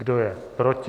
Kdo je proti?